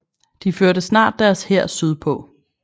De førte snart deres hær sydpå